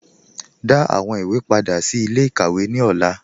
Dá àwọn ìwé pádà sí ilẹ̀-ikàwé ní ọlà